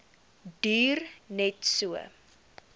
duur net so